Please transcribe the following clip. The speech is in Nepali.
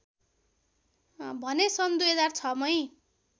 भने सन् २००६ मै